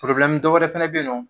dɔw wɛrɛ fɛnɛ bɛ yen nɔ.